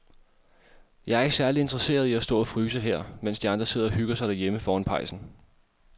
Jeg er ikke særlig interesseret i at stå og fryse her, mens de andre sidder og hygger sig derhjemme foran pejsen.